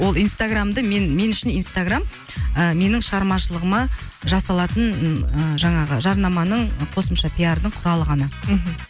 ол инстаграмды мен мен үшін инстаграмм ы менің шығармашылығыма жасалатын ыыы жаңағы жарнаманың қосымша пиардың құралы ғана мхм